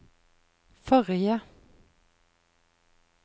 forrige